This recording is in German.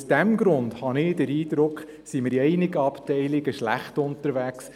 Aus diesem Grund habe ich den Eindruck, sind wir in einigen Abteilungen schlecht unterwegs.